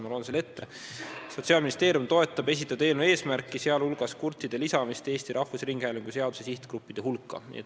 Ma loen selle ette: Sotsiaalministeerium toetab esitatud eelnõu eesmärki, sealhulgas kurtide lisamist Eesti Rahvusringhäälingu seaduse sihtgruppide hulka.